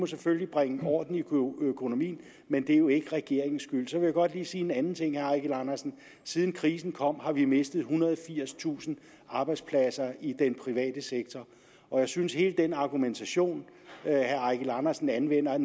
selvfølgelig bringe i orden men det er jo ikke regeringens skyld så vil jeg godt lige sige en anden ting til herre eigil andersen siden krisen kom har vi mistet ethundrede og firstusind arbejdspladser i den private sektor og jeg synes hele den argumentation herre eigil andersen anvender